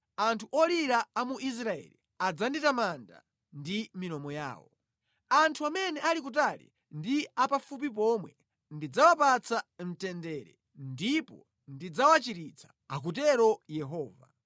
anthu olira a mu Israeli adzanditamanda ndi milomo yawo. Anthu amene ali kutali ndi apafupi pomwe ndidzawapatsa mtendere,” “Ndipo ndidzawachiritsa.” Akutero Yehova.